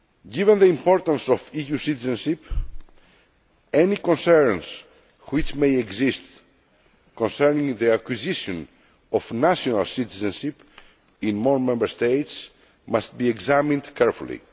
Given the importance of EU citizenship, any concerns which may exist concerning the acquisition of national citizenship in more Member States must be examined carefully.